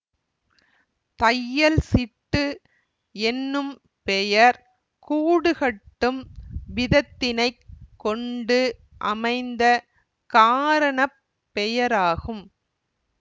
தையல்சிட்டு என்னும் பெயர் கூடுகட்டும் விதத்தினைக் கொண்டு அமைந்த காரண பெயராகும்